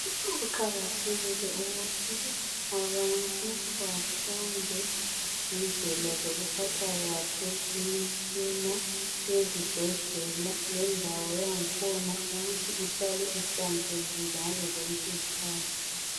Kuqakathekile ukuthi abantu bafunde ngendlela zokuphatha kahle imitshina ezibhedlela lendawo yangkhona ukuthi ihlale ihlanzekile ngazozonke izkhathi.